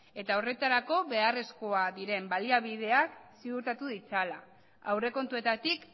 eta horretarako beharrezkoak diren baliabideak ziurtatu ditzala aurrekontuetatik